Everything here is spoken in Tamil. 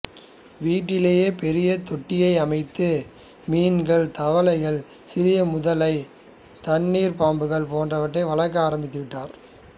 வீட்டிலேயே பெரிய தொட்டியை அமைத்து மீன்கள் தவளைகள் சிறிய முதலை தண்ணீர் பாம்பு போன்றவற்றை வளர்க்க ஆரம்பித்துவிட்டார்